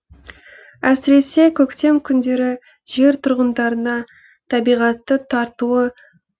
әсіресе көктем күндері жер тұрғындарына табиғатты тартуы